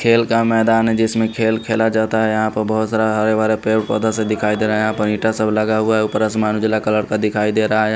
खेल का मैदान है जिसमें खेल खेला जाता है यहां पर बहोत सारा हरे भरा पेड़ पौधा भी दिखाई दे रहे हैं यहां पर इटा सब लगा हुआ है ऊपर आसमान उजला कलर का दिखाई दे रहा है।